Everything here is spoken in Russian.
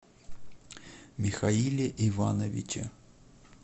михаиле ивановиче